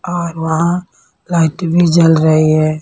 और वहाँ लाइट भी जल रही है।